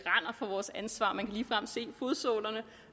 fra vores ansvar man kan ligefrem se fodsålerne